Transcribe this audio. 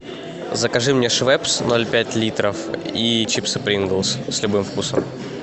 закажи мне швепс ноль пять литров и чипсы принглс с любым вкусом